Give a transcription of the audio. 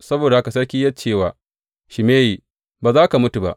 Saboda haka sarki ya ce wa Shimeyi, Ba za ka mutu ba.